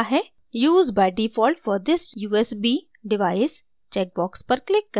use by default for this usb device check box पर click करें